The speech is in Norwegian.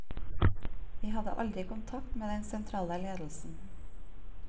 Vi hadde aldri kontakt med den sentrale ledelsen.